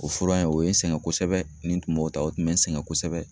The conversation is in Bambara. O fura in o ye n sɛgɛn kosɛbɛ, nin tun b'o ta, o tun bɛ n sɛgɛn kosɛbɛ.